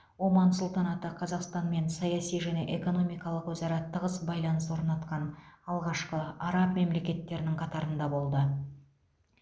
оман сұлтанаты қазақстанмен саяси және экономикалық өзара тығыз байланыс орнатқан алғашқы араб мемлекеттерінің қатарында болды